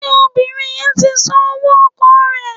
Ṣé obìnrin yẹn ti san owó ọkọ̀ rẹ̀?